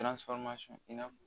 i n'a fɔ